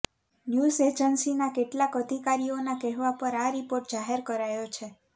news એજન્સીના કેટલાક અધિકારીઓના કહેવા પર આ રિપોર્ટ જાહેર કરાયો છે